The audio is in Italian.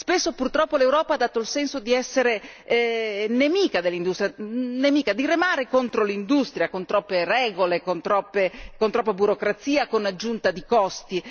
Spesso purtroppo l'Europa ha dato il senso di essere nemica dell'industria, di remare contro l'industria con troppe regole, con troppa burocrazia, con l'aggiunta di costi.